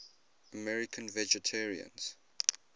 american vegetarians